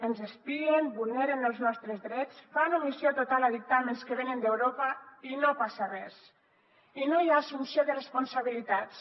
ens espien vulneren els nostres drets fan omissió total a dictàmens que venen d’europa i no passa res i no hi ha assumpció de responsabilitats